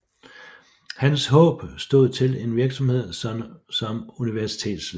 Hans håb stod til en virksomhed som universitetslærer